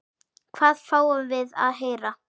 Hvað fáum við að heyra?